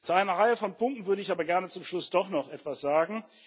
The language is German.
Zu einer Reihe von Punkten würde ich aber gerne zum Schluss doch noch etwas sagen.